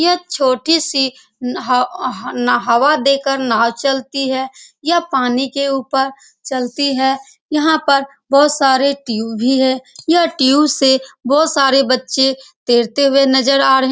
यह छोटी सी हाव ना हवा देके नाव चलती है यह पानी के उपर चलती है यहाँ पर बहुत सारे टिउब भी हैं यह टिउब से बहुत सारे बच्चे तेरते हुए नज़र आ रहे हैं ।